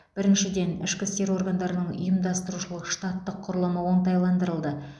біріншіден ішкі істер органдарының ұйымдастырушылық штаттық құрылымы оңтайландырылды